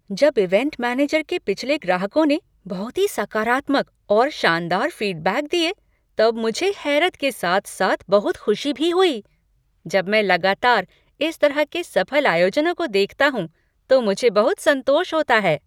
जब event manager के पिछले ग्राहकों ने बहुत ही सकारात्मक और शानदार फीडबैक दिए तब मुझे हैरत के साथ साथ बहुत खुशी भी हुई। जब मैं लगातार इस तरह के सफल आयोजनों को देखता हूँ तो मुझे बहुत संतोष होता है।